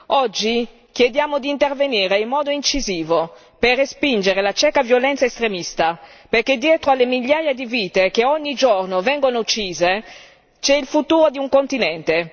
Oggi chiediamo di intervenire in modo incisivo per respingere la cieca violenza estremista, perché dietro alle migliaia di vite che ogni giorno vengono uccise c'è il futuro di un continente.